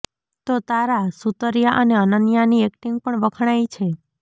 તો તારા સુતરિયા અને અનન્યાની એક્ટિંગ પણ વખણાઈ છે